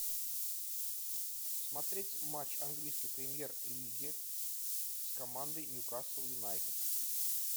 смотреть матч английской премьер лиги с командой ньюкасл юнайтед